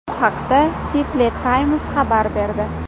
Bu haqda Seattle Times xabar berdi.